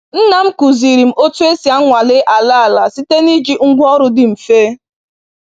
Nna m kụziri m otu esi anwale ala ala site n’iji ngwá ọrụ dị mfe.